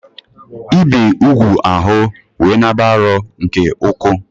Ibe úgwù ahu we nāb͕a arọ nke-uku